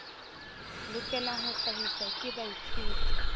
lokelang ho hlahiswa ke baithuti